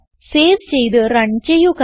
save ചെയ്ത് run ചെയ്യുക